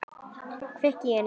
Kveikir í henni.